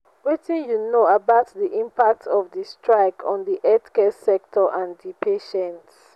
wetin you know about di impact of di strike on di healthcare sector and di patients?